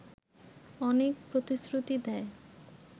অনেক প্রতিশ্রুতি দেয়